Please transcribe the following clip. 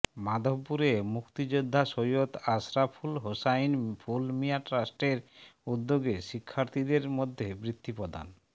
মাধবপুরে মুক্তিযোদ্ধা সৈয়দ আশরাফুল হোসাইন ফুল মিয়া ট্রাস্টের উদ্যোগে শিক্ষার্থীদের মধ্যে বৃত্তি প্রদান